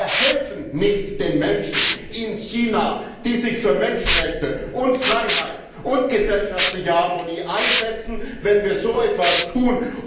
Wir helfen nicht den Menschen in China, die sich für Menschenrechte, Freiheit und gesellschaftliche Harmonie einsetzen, wenn wir so etwas tun.